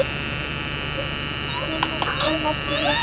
Fundust einhver ummerki hér fyrir utan?